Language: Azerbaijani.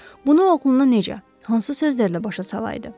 Bunu oğluna necə, hansı sözlərlə başa salaydı?